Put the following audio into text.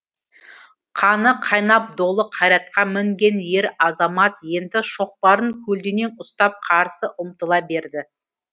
қаны қайнап долы қайратқа мінген ер азамат енді шоқпарын көлденең ұстап қарсы ұмтыла берді